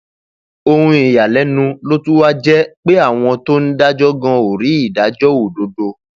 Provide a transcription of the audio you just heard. um ohun ìyàlẹnu ló tún wáá jẹ pé àwọn tó um ń dájọ gan ò rí ìdájọ òdodo